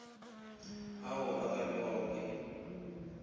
ao a ka bewago ke